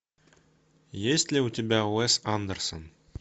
есть ли у тебя уэс андерсон